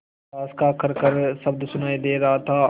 साँस का खरखर शब्द सुनाई दे रहा था